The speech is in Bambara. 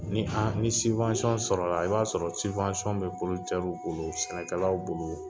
Ni ni sɔrɔ la , i b'a sɔrɔ bɛ bolo, sɛnɛkɛlaw bolo.